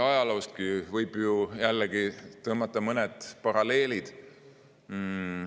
Ajaloostki võib ju tõmmata mõned paralleelid.